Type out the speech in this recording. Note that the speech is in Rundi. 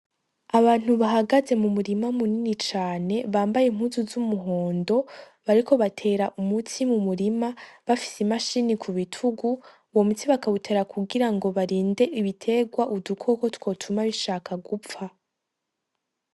Abantu bahagaze mu murima munini cane bambaye impuzu z'umuhondo, bariko batera umuti mu murima bafise i mashini ku bitugu, uyo muti bakawutera kugira ngo barinde ibiterwa udukoko twotuma bishaka gupfa.